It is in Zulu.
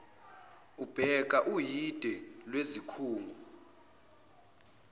ubheka uhide lwezikhungo